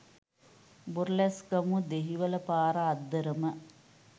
බොරලැස්ගමුව දෙහිවල පාර අද්දරම